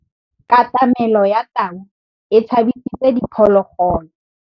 Katamêlô ya tau e tshabisitse diphôlôgôlô.